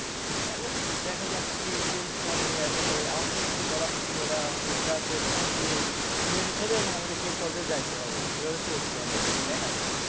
এখন দেখা যাক কি change করে? আসলে আমাদের তো কিছু বলার নেই ওরা মানে যা করবে আমাদের শুধু মেনে নিতে হবে এবং আমাদের সেই পর্যায়ে যাইতে হবে এইভাবে চলতে হবে আরকি, তাইনা?